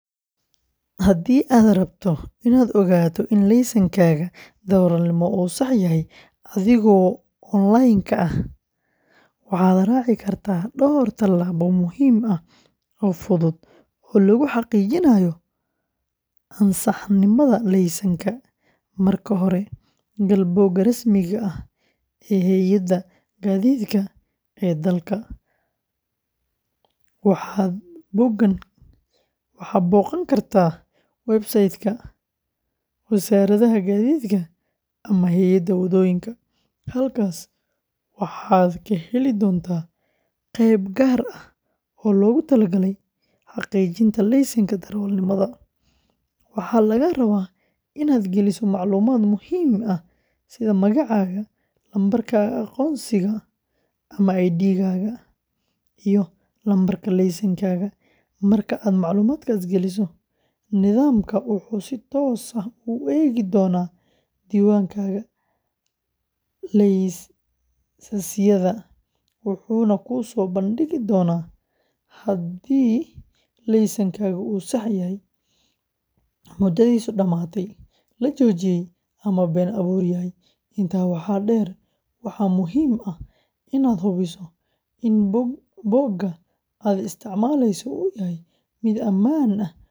Haddii aad rabto inaad ogaato in laysankaaga darawalnimo uu sax yahay adigoo online-ka ah, waxaad raaci kartaa dhowr tallaabo muhiim ah oo fudud oo lagu xaqiijinayo ansaxnimada laysanka. Marka hore, gal bogga rasmiga ah ee hay’adda gaadiidka ee dalkaaga, waxaad booqan kartaa website-ka Wasaaradda Gaadiidka ama hay’adda wadooyinka. Halkaas waxaad ka heli doontaa qayb gaar ah oo loogu talagalay xaqiijinta laysanka darawalnimada. Waxaa lagaa rabaa inaad geliso macluumaad muhiim ah sida magacaaga, lambarka aqoonsiga ama ID-ga, iyo lambarka laysankaaga. Marka aad macluumaadkaas geliso, nidaamka wuxuu si toos ah u eegi doonaa diiwaanka laysasyada, wuxuuna kuu soo bandhigi doonaa haddii laysankaagu uu sax yahay, muddadiisu dhammaatay, la joojiyay, ama been abuur yahay. Intaa waxaa dheer, waxaa muhiim ah inaad hubiso in bogga aad isticmaalayso uu yahay mid ammaan ah.